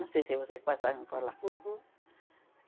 Não sei se vocês passaram por lá.